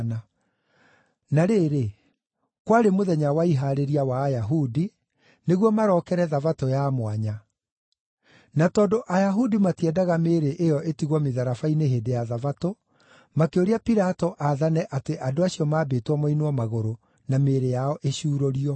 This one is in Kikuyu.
Na rĩrĩ, kwarĩ mũthenya wa Ihaarĩria wa Ayahudi, nĩguo marokere Thabatũ ya mwanya. Na tondũ Ayahudi matiendaga mĩĩrĩ ĩyo ĩtigwo mĩtharaba-inĩ hĩndĩ ya Thabatũ, makĩũria Pilato aathane atĩ andũ acio maambĩtwo moinwo magũrũ, na mĩĩrĩ yao ĩcuurũrio.